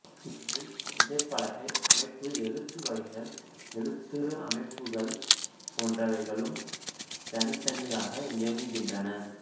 இவற்றில் விசைப்பலகை அமைப்பு எழுத்து வகைகள் எழுத்துரு அமைப்புகள் போன்றவைகளும் தனித்தனியாக இருக்கின்றன